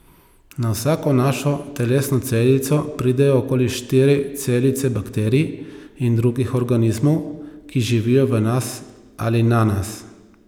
Na vsako našo telesno celico pridejo okoli štiri celice bakterij in drugih organizmov, ki živijo v nas ali na nas.